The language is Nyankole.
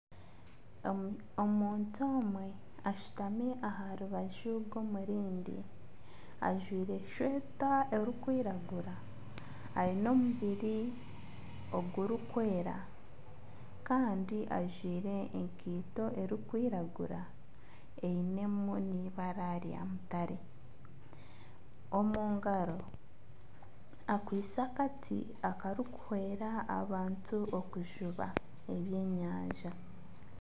Omuntu omwe ashutami aha rubaju rw'omurindi. Ajwire eshweta erikwiragura ayine omubiri ogurikwera kandi ajwire enkaito erikwiragura eyinemu nibara ryamutare. Omu ngaro akwiste akati akarikuhwera abantu okujuba ebyenyanja